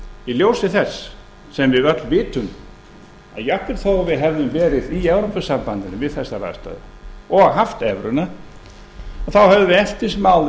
í ljósi þess sem við öll vitum að jafnvel þó að við hefðum verið í evrópusambandinu við þessar aðstæður og haft evruna hefðum við eftir sem áður